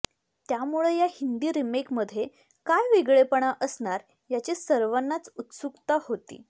त्यामुळं या हिंदी रिमेकमध्ये काय वेगळेपणा असणार याची सर्वांनाच उत्सुकता होती